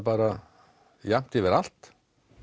jafnt yfir allt